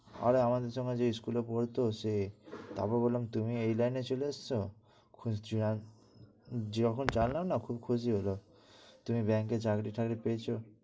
আরে আমাদের সঙ্গে যে school পড়ত সে, তারপর বললাম তুমি এই লাইনে চলে এসেছো? যখন জানলাম না খুব খুশি হলো। তুমি bank এ চাকরি টাকরি পেয়েছো।